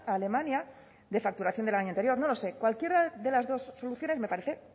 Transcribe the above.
alemania de facturación del año anterior no lo sé cualquiera de las dos soluciones me parece